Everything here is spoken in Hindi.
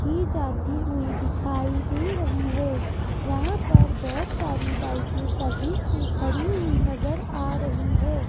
की जाती हुई दिखाई दे रही है यहां पर बहोत सारी बाइके सर्विस पे खड़ी हुई नज़र आ रही है।